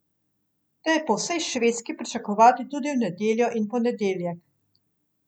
Te je po vsej Švedski pričakovati tudi v nedeljo in ponedeljek.